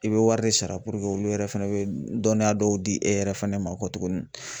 I bɛ wari de sara puruke olu yɛrɛ fana bɛ dɔnniya dɔw di e yɛrɛ fana ma kɔ tuguni